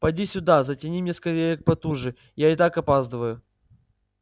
поди сюда затяни мне скорее потуже я и так опаздываю